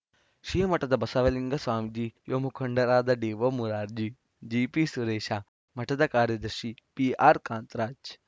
ಶ್ರೀ ಮಠದ ಬಸವಲಿಂಗ ಸ್ವಾಮೀಜಿ ಯುವ ಮುಖಂಡರಾದ ಡಿಒಮುರಾರ್ಜಿ ಜಿಪಿಸುರೇಶ ಮಠದ ಕಾರ್ಯದರ್ಶಿ ಪಿಆರ್‌ಕಾಂತರಾಜ್‌